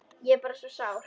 Ég er bara svo sár.